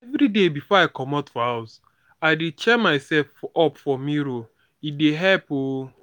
everyday before i comot for house i dey cheer myself up for mirror e dey help oo